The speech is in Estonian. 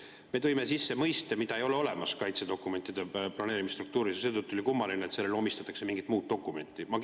Me tõime sisse mõiste, mida ei ole olemas kaitsedokumentide planeerimisstruktuuris, seetõttu on kummaline, et sellele omistatakse mingi muu dokumendi.